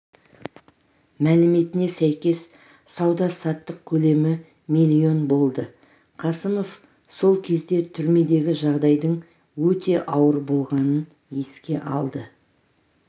мәліметіне сәйкес сауда-саттық көлемі млн болды қасымов сол кезде түрмедегі жағдайдың өте ауыр болғанын еске алды